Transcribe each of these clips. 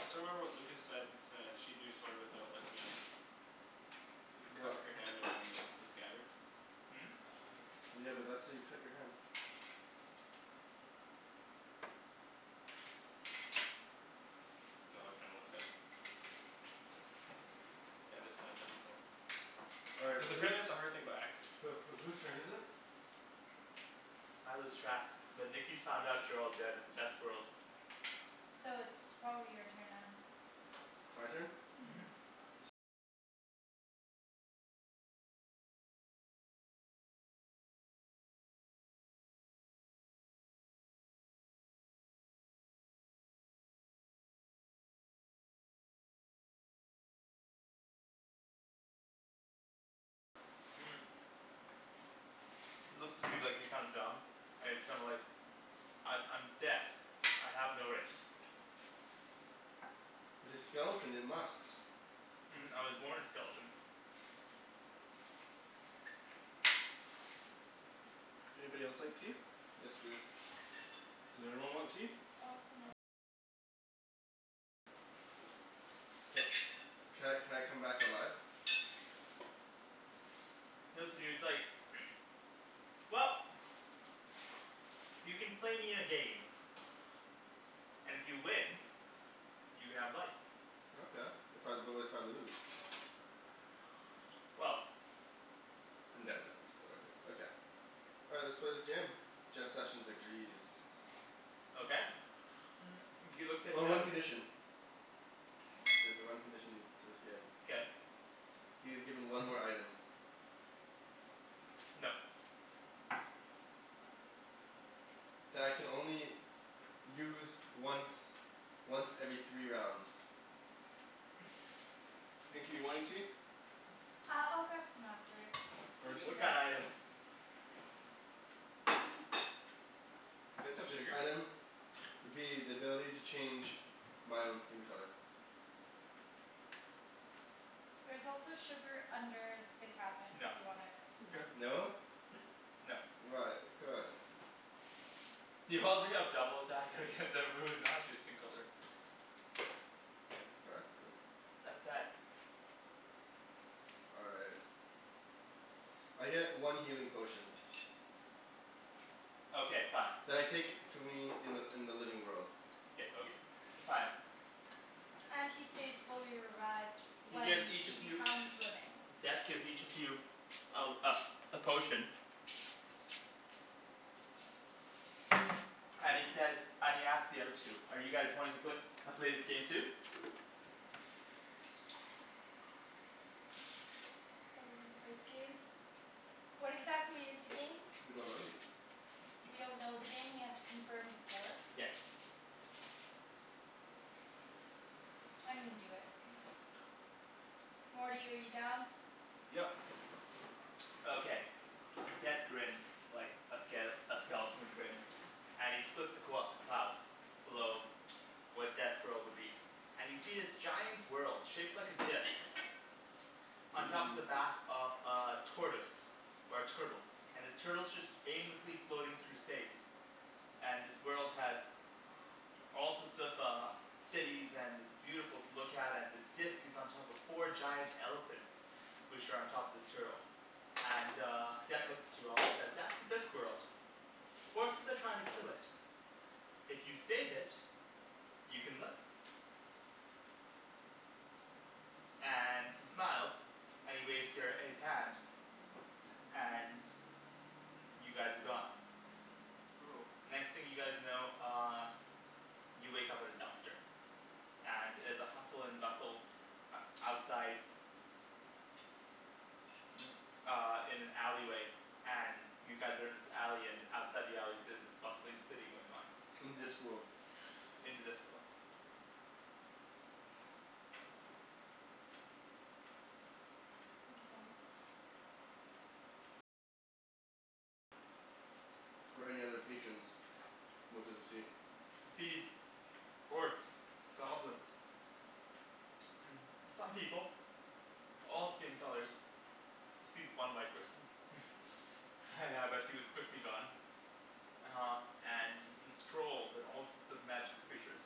I still remember what Lucas said to sheathe your sword without looking at it. You What? cup your hand around the the scabbard. Hmm? Yeah, but that's how you cut your hand. Oh I kinda looked that up. Yeah, that's kind of difficult. All right, Cuz so whose apparently that's a hard thing about acting. Who who whose turn is it? I lose track, but Nikki's found out you're all dead in Death's world. So it's probably your turn then. My turn? Mhm. Mhm. He looks at you like you're kinda dumb, and he's kinda like "I'm I'm Death. I have no race." But his skeleton, it must. "I was born a skeleton." Anybody else like tea? Yes, please. Does everyone want tea? Ca- can I can I come back alive? He looks at you he's like "Well, you can play me in a game, and if you win, you can have life. Okay. If I, but if I lose? Well I'm done, Daniel, I'm still good. All right, let's play this game. Jeff Sessions agrees. Okay he looks at Oh, the one condition. There's a one condition to this game. Okay He is given one more item. No. That I can only use once once every three rounds. Nikki you want any tea? Uh I'll grab some after, it's okay. Thank Arjan? you What though. kinda item? Do you guys have This sugar? item would be the ability to change my own skin color. There's also sugar under the cabinets if No. you want it. Mkay. No? No. Why? Come on. You already have double attack against everybody who's not your skin color. Exactly. That's bad. All right. I get one healing potion. Okay fine. You That I take to me in the in the living world. K okay, fine. And he stays fully erect He when gives each he of you, becomes living. Death gives each of you a uh a potion and he says, and he asks the other two: "Are you guys wanting to pla- play this game too?" Are we gonna play the game? What exactly is the game? We don't know yet. We don't know the game and we have to confirm before? Yes. I'm gonna do it. Morty, are you down? Yep. Okay. Okay. Death grins like a ske- a skeleton would grin. And he splits the qu- the clouds below where Death's world would be, and you see this giant world shaped like a disc on top of Mmm. the back of a tortoise or a turtle, and this turtle's just aimlessly floating through space. And this world has all sorts of uh cities and it's beautiful to look at and this disc is on top of four giant elephants which are on top of this turtle. And uh Death Mkay. looks at you all and says "That's the Discworld." "Forces are trying to kill it. If you save it, you can live." And he smiles and he waves your his hand. And y- you guys are gone. Oh. The next thing you guys know uh you wake up at a dumpster. And it is a hustle and bustle outside uh in an alley way and you guys are in this alley and outside the alleys there's this bustling city going on. In Discworld. In the Discworld. Mkay. for any other patrons. What does he see? He sees orcs, goblins some people. All skin colors. Sees one white person. Yeah but he was quickly gone. Uh and he sees trolls and all sorts of magical creatures.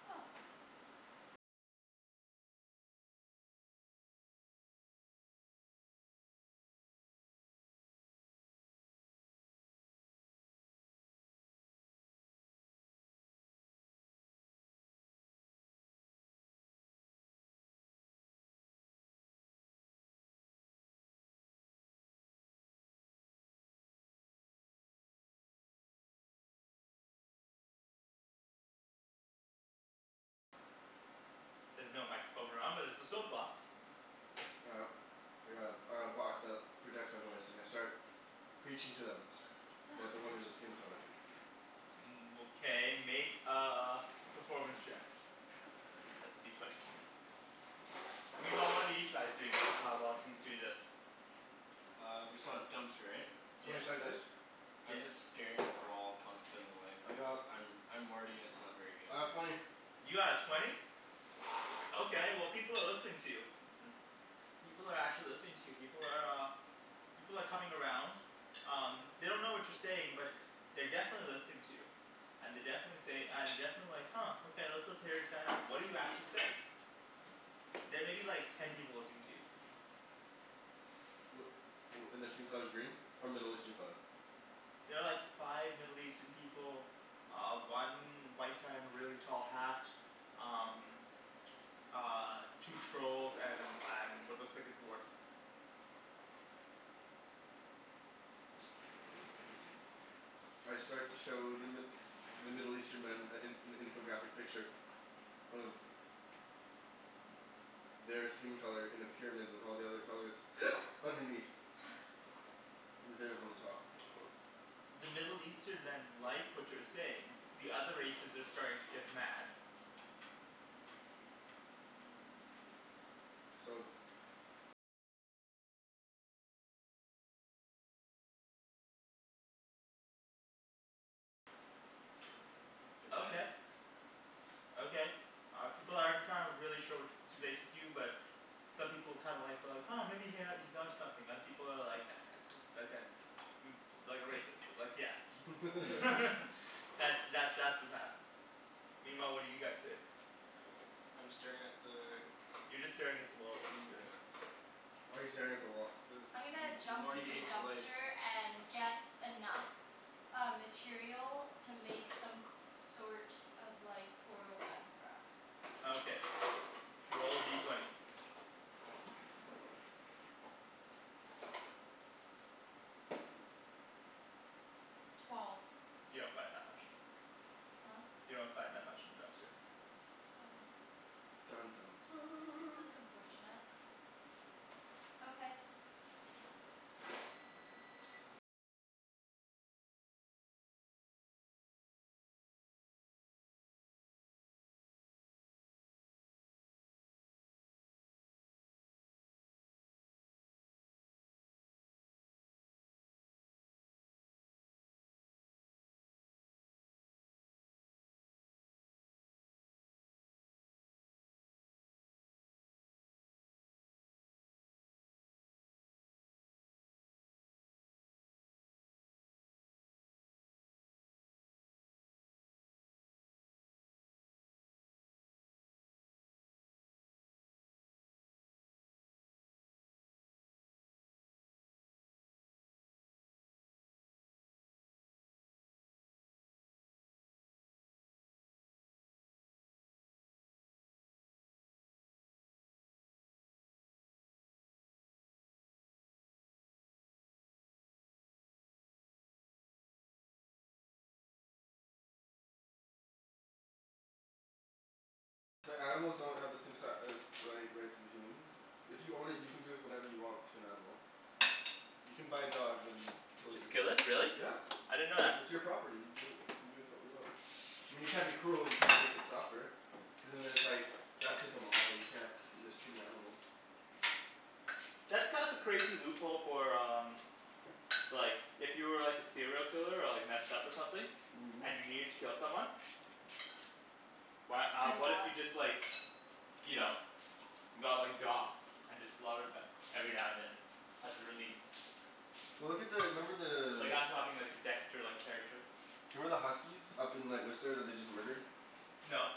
There's no microphone around but there's a soap box. All right. I got a I got a box that projects my voice and I start preaching to them about the wonders of skin color. Okay make a performance check. That's a D twenty. Meanwhile what are you chais doing the uh while he's doing this? Uh we're still at dumpster right? Twenty Yeah. sided dice? I'm just staring at the wall contemplating life I cuz got I'm I'm Morty and it's not very good. I got twenty. You got a twenty? Okay well, people are listening to you. People are actually listening to you. People are uh People are coming around. Um, they don't know what you're saying but they're definitely listening to you. And they definitely say and definitely like "Huh okay, let's listen hear this guy out." What do you actually say? There may be like ten people listening to you. Wh- wh- and their skin color's green? Or Middle Eastern color? There are like five Middle Eastern people. Uh one white guy in a really tall hat. Um Uh two trolls and and what looks like a dwarf. I start to show the Mi- the Middle Eastern men a an an infographic picture of their skin color in a pyramid with all the other colors underneath. With theirs on the top. The Middle Eastern men like what you're saying. The other races are starting to get mad. So Okay. Okay, uh people aren't kind of really sure what to make of you but some people kind of like well like "Huh maybe he ha- he's onto something." Other people are like "That guy's i- that guy's" "like a racist, like yeah" That's that that's what happens. Meanwhile what are you guys doing? I'm staring at the You're just staring at the wall, what are you doing? Yeah. Why are you staring at the wall? Cuz M- I'm gonna M- M- jump Morty into the hates life. dumpster and get enough uh material to make some c- sort of like portal gun for us. Okay, roll a D twenty. Twelve. You don't find that much. Huh? You don't find that much in the dumpster. Oh. Dun dun dun That's unfortunate. Okay. But animals don't have the same si- as like rights as the humans If you own it, you can do with whatever you want to an animal. You can buy a dog then kill it Just kill yourself. it? Really? Yeah. I didn't know that. It's your property. You do you can do with what you want. I mean you can't be cruel. You can't make it suffer. Cuz and then it's like that type of law. You can't mistreat an animal. That's kind of a crazy loophole for um Like if you were like a serial killer or like messed up or something and you needed to kill someone. Why It's uh pretty what if hot. you just like you know, got like dogs and just slaughtered them every now and then as a release? Well look at the, remember Like the I'm talking like a dexter-like character. Do you remember the huskies up in like Whistler that they just murdered? No.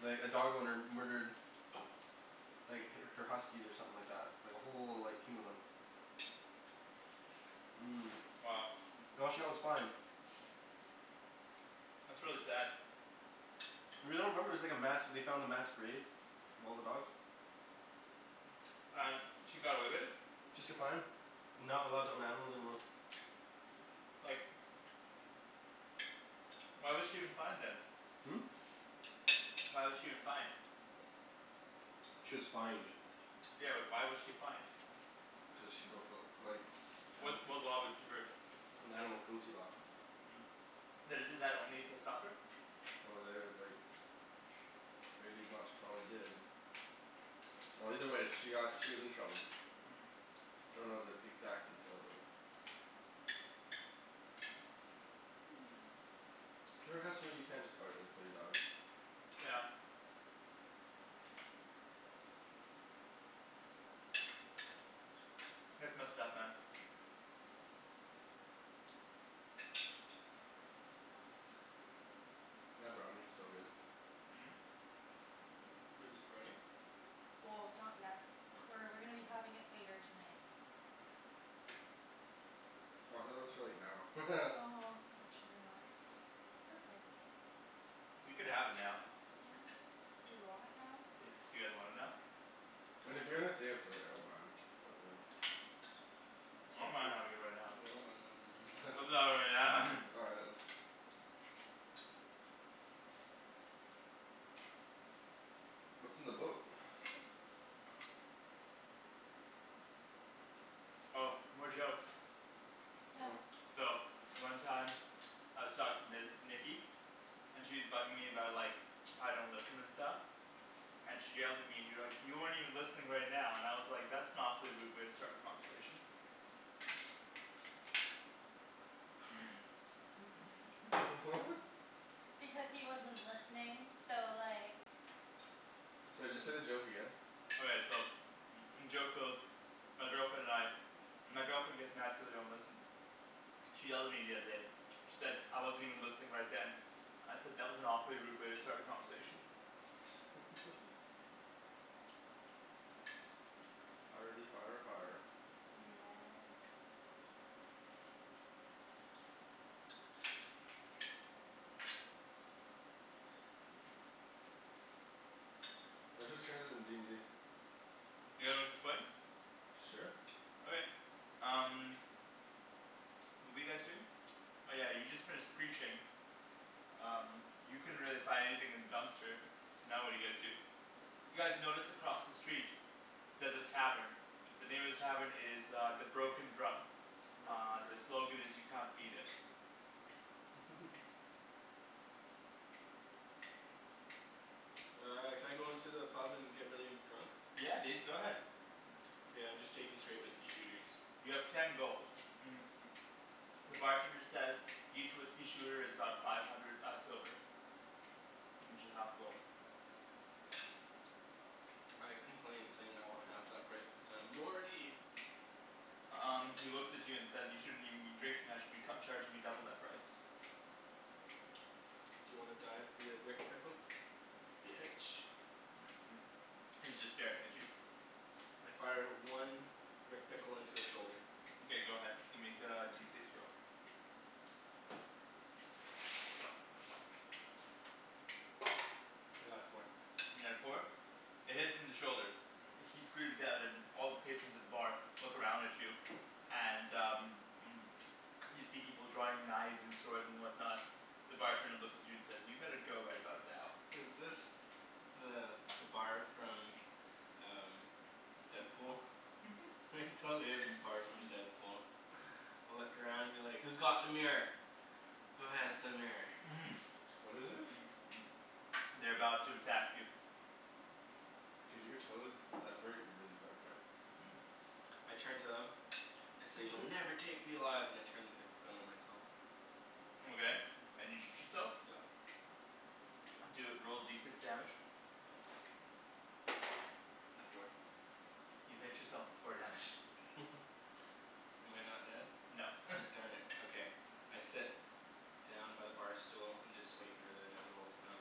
Like a dog owner murdered like h- her huskies or something like that. Like a whole like team of them. Mmm. Wow. And all she got was fined. That's really sad. You really don't remember, it was like a mass, they found a mass grave of all the dogs? And he got away with it? Just get fined. And not allowed to own animals anymore. Like Why was she even fined then? Hmm? Why was she even fined? She was fined. Yeah but why was she fined? Cuz she broke the like Which anima- what law was she breaking The animal cruelty law. But isn't that only if they suffer? Well, they like pretty much probably did. Well either way she got, she was in trouble. I don't know the exact details of it. There has to be you can't just outright kill your dog. Yeah. That's messed up man. That brownie's so good. Wait, there's brownie? Well, it's not yet. Oh. We're we're gonna be having it later tonight. Oh I thought that was for like now. Oh unfortunately not. It's okay. We could have it now. Huh? Do we want it now? Yeah, you guys want it now? Mean if Kinda. you're gonna save it for later, I don't mind. But like I S'all don't mind cool. having it right now. Yeah, I don't mind havin' it right now. All right let's What's in the book? Oh, more jokes. Yeah. Oh. So one time I was talking to Nikki and she's bugging me about like how I don't listen and stuff. And she yelled at me and you're like "You aren't even listening right now" and I was like "That's an awfully rude way to start a conversation." What? Because he wasn't listening. So like Sorry, just say the joke again? Okay so joke goes My girlfriend and I, my girlfriend gets mad cuz I don't listen. She yelled at me the other day. She said I wasn't even listening right then. I said "That was an awfully rude way to start a conversation." Hardy har har Yeah. All right, whose turn is it in d n d? You guys wanna keep playing? Sure. Okay, um What were you guys doing? Oh yeah, you just finished preaching. Um you couldn't really find anything in the dumpster. So now what do you guys do? You guys notice across the street there's a tavern. The name of the tavern is uh "The Broken Drum." Broken Uh the drill. slogan is "You can't beat it." Uh can I go into the pub and get really drunk? Yeah dude, go ahead. K, I'm just taking straight whiskey shooters. You have ten gold The bartender says "Each whiskey shooter is about five hundred uh silver. Which is half a gold. I complain saying I want half that price cuz I'm Morty! Um he looks at you and says "You shouldn't even be drinking, I should be cu- charging you double that price." D'you wanna die via Rick Pickle? Bitch. He's just staring at you. I fire one Rick Pickle into his shoulder. Mkay go ahead. You can make a D six roll. I got a four. You got a four? It hits him in the shoulder. He screams out and all the patrons at the bar look around at you and uh You see people drawing knives and swords and whatnot. The bartender looks at you and says "you better go right about now." Is this the the bar from uh Deadpool? It totally is the bar from Deadpool. Look around and be like "Who's got the mirror? Who has the mirror?" What is this? They're about to attack you. Dude, your toes separate really far apart. Mhm. I turn to them, I say "You'll never take me alive!" and I turn the pickle gun on myself. Okay, and you shoot yourself? Yep. Do a, roll D six damage. A four. You hit yourself for four damage. Am I not dead? No Darn it, okay. I sit down by the bar stool and just wait for the inevitable to come.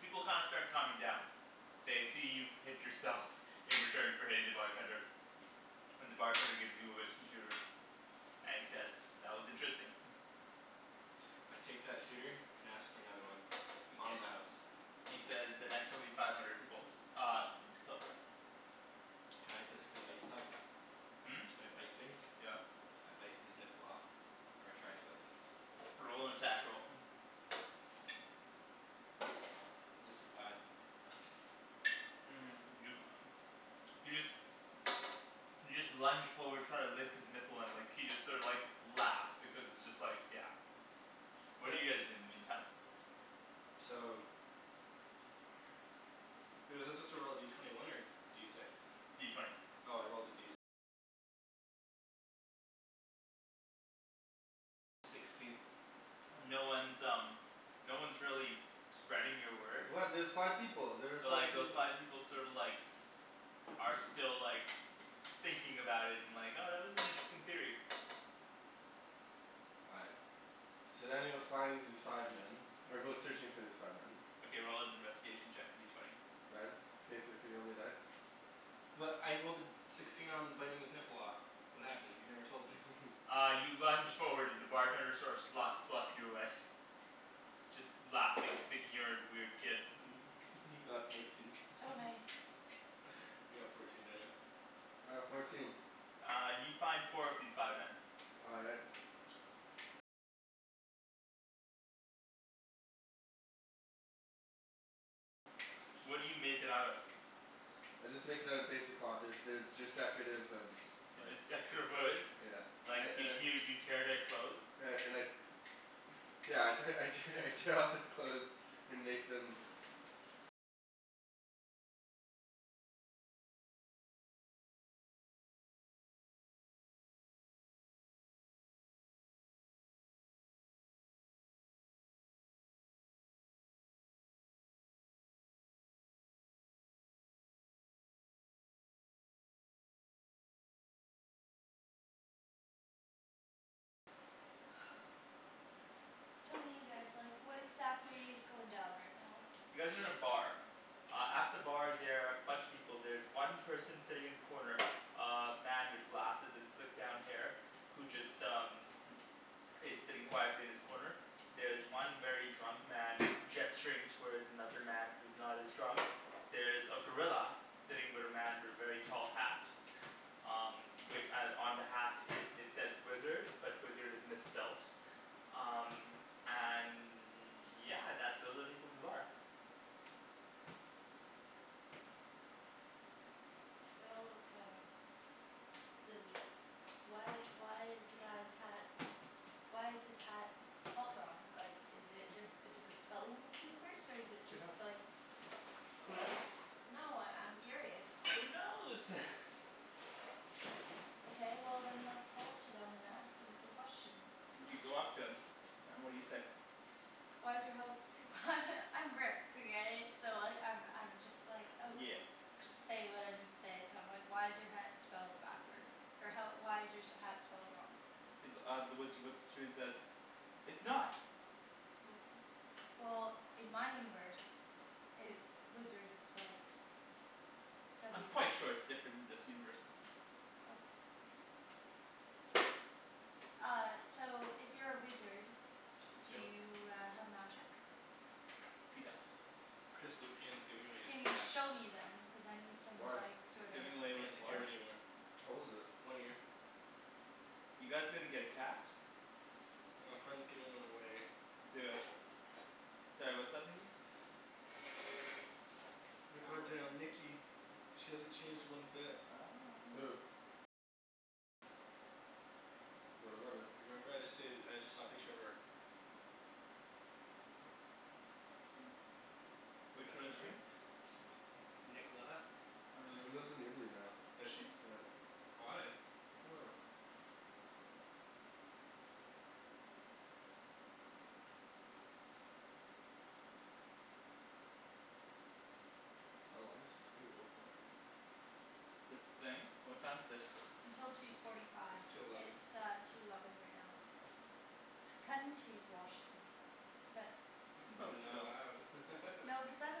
People kinda start calming down. They see you hit yourself. In return for hitting the bartender. And the bartender gives you a whiskey shooter and he says "That was interesting" I take that shooter and ask for another one on Mkay, the house. he says "The next one will be five hundred gold uh silver." Can I physically bite stuff? Hmm? Can I bite things? Yeah. I bite his nipple off. Or I try to at least. Roll an attack roll It's a five. you you just you just lunge forward try to lick his nipple and like he just sort of like laughs because it's just like yeah What do What? you guys do in the meantime? So Was he supposed to roll a D twenty one or D six? D twenty. No one's um no one's really spreading your word. What? There's five people! There were But like five peop- those five people sorta like are still like thinking about it and like "Oh that was an interesting theory." All right. So then he'll finds these five men. Or goes Mhm. searching for these five men Okay, roll an investigation check, a D twenty. Ryan? Can you thr- can you roll me a die? Well I rolled a sixteen on biting his nipple off. What happened? You never told me. Uh you lunge forward and the bartender sort of slots slots you away. Just laughing, thinking you're a weird kid. He got fourteen So nice. You got fourteen, Daniel. All right, fourteen. Uh you find four of these five men. All right. I just make it out of basic cloth. There's they're just decorative hoods, They're like just decorative hoods? Yeah. Like I and y- I y- you tear their clothes? and I and I Yeah I te- I tear I tear off their clothes and make them Tell me you guys like what exactly is going down right now? You guys are in a bar. Uh at the bar there are a bunch of people. There's one person sitting in the corner uh man with glasses and slicked down hair who just um is sitting quietly in his corner. There's one very drunk man gesturing towards another man who's not as drunk. There's a gorilla. Sitting with a man with a very tall hat. Um wi- on the hat it says wizard, but wizard is misspelt. Um and yeah, that's all the people in the bar. They all look kind of silly. Why why is the guy's hat, why is his hat spelt wrong? Like is it di- a different spelling in this universe? Or is it Who knows? just like Who knows? No, I I'm curious. Who knows? Okay well then let's go up to them and ask them some questions. You go up to him and what do you say? Why is your health I'm Rick okay? So I I'm I'm just like oh Yeah. Just say what I need to say so I'm like "Why is your hat spelled backwards, or how why is your hat spelled wrong?" He th- uh the wizard looks at you and says "It's not!" W- Well in my universe it's, wizard is spelt w I'm quite sure it's different in this universe. Oh. Uh so if you're a wizard, do Dill. you uh have magic? He does. Chris Lupian is giving away his Can you cat. show me then? Cuz I need some Why? like sorta Giving away Just with can't take care what? of it anymore. How old is it? One year. You guys gonna get a cat? Well a friend's giving one away. Do it. Sorry, what's up Nikki? My god damn Nikki, she hasn't changed one bit. Who? What about her? You remember I just said I just saw a picture of her. Which That's one her is she? right? N- Nicolena? I don't She's remember. lives in Italy now. Does she? Yeah. Why? I dunno. How long does this thing go for? This thing? What time is it? Until two forty It's five. two eleven. It's uh two eleven right now. Kinda need to use the washroom but You can probably just Not go. allowed. No because I have a